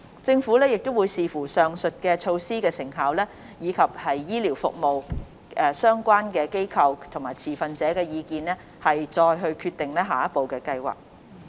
政府會視乎上述措施的成效，以及醫療服務相關機構和持份者的意見，再決定下一步的計劃。